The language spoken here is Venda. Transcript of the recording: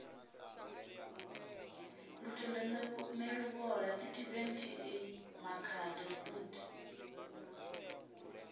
lutendo neluvhola citizen ta makhado stud